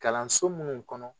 Kalanso minnu kɔnɔ